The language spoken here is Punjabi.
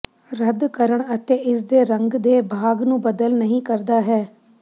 ਰੱਦ ਕਰਨ ਅਤੇ ਇਸ ਦੇ ਰੰਗ ਦੇ ਭਾਗ ਨੂੰ ਬਦਲ ਨਹੀ ਕਰਦਾ ਹੈ